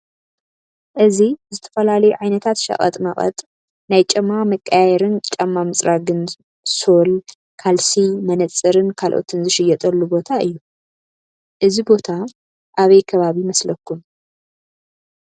እዚ ዝተፈላለዩ ዓይነታት ሽቀጥ መቀጥ ናይ ጫማ መቀያየሪን ጫማ ምፅራግን ሶል፤ ካልሲ ፤መነፀርን ካልአቶን ዝሽየጠሉ ቦታ እዩ። እዚ ቦታ አበይ ከባቢ ይመስለኩም ?